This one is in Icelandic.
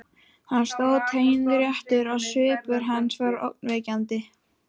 Hann stóð teinréttur og svipur hans var ógnvekjandi.